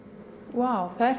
vá það er